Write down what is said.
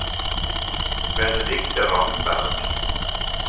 Benedicte Ramberg